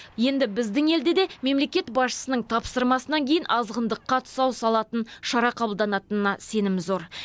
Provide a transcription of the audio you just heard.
енді біздің елде де мемлекет басшысының тапсырмасынан кейін азғындыққа тұсау салатын шара қабылданатынына сенім зор